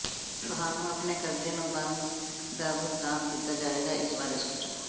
ਤੁਹਾਨੂੰ ਆਪਣੇ ਕਰਜ਼ੇ ਨੂੰ ਬੰਦ ਦਾ ਭੁਗਤਾਨ ਕੀਤਾ ਜਾਵੇਗਾ ਇਸ ਬਾਰੇ ਸੋਚੋ